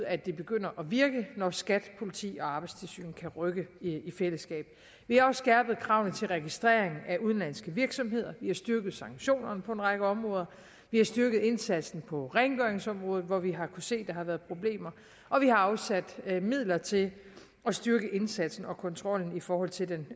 at det begynder at virke når skat politiet og arbejdstilsynet kan rykke i fællesskab vi har også skærpet kravene til registrering af udenlandske virksomheder vi har styrket sanktionerne på en række områder vi har styrke indsatsen på rengøringsområdet hvor vi har kunnet se der har været problemer og vi har afsat midler til at styrke indsatsen og kontrollen i forhold til den